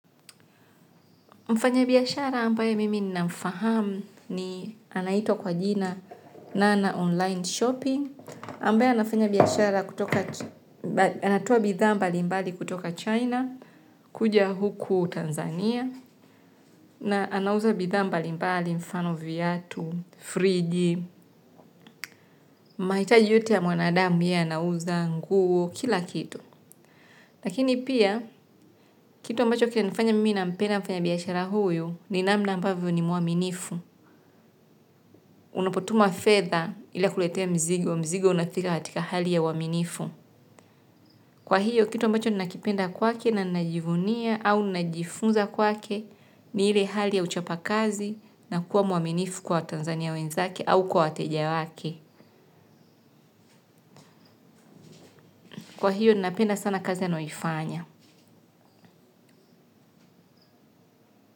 Mfanyibiashara ambaye mimi namfahamu ni, anaitwa kwa jina nana online shopping, ambaye anafanya biashara kutoka, anatoa bidhaa mbali mbali kutoka china kuja huku Tanzania na anauza bidha mbali mbali mfano viatu, friji, mahitaji yote ya mwanadamu ye anauza nguo, kila kitu. Lakini pia, kitu ambacho kinanifanya mimi nampenda mfanyabiashara huyu ni namna ambavyo ni mwaminifu. Unapotuma fedha ila akuletee mzigo, mzigo unafika katika hali ya uaminifu. Kwa hiyo, kitu ambacho nina kipenda kwake na ninajivunia au ninajifunza kwake ni ile hali ya uchapa kazi na kuwa mwaminifu kwa watanzania wenzake au kwa wateja wake. Kwa hiyo, nina penda sana kazi anayoifanya.